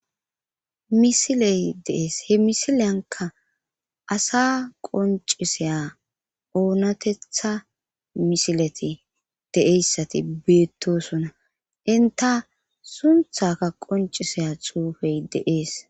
Misiley deees he misileyanka asa qonciseya oonatetha misileti deeyssati beettosona inta sunthaka qonciseya xuufey deees.